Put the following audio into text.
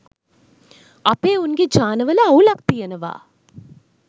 අපේ උන් ගේ ජානවල අවුලක් තියනවා